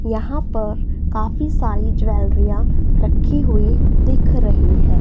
यहां पर काफी सारी ज्वैलरिया रखी हुई दिख रही है।